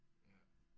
Ja